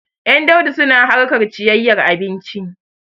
Ƴan Daudu suna harkar cikayyar abinci.